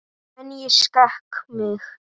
En ég skek mig.